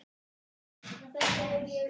uns að æðsta miði